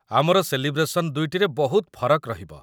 ଆମର ସେଲିବ୍ରେସନ୍ ଦୁଇଟିରେ ବହୁତ ଫରକ ରହିବ ।